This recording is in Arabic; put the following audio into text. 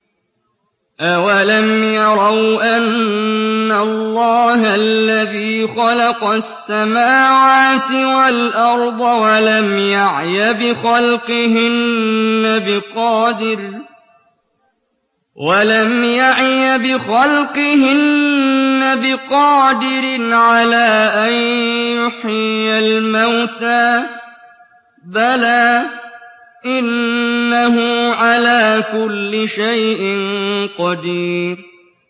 أَوَلَمْ يَرَوْا أَنَّ اللَّهَ الَّذِي خَلَقَ السَّمَاوَاتِ وَالْأَرْضَ وَلَمْ يَعْيَ بِخَلْقِهِنَّ بِقَادِرٍ عَلَىٰ أَن يُحْيِيَ الْمَوْتَىٰ ۚ بَلَىٰ إِنَّهُ عَلَىٰ كُلِّ شَيْءٍ قَدِيرٌ